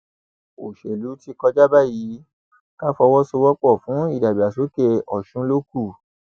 òṣèlú ti kọjá báyìí ká fọwọsowọpọ fún ìdàgbàsókè ọsùn ló kù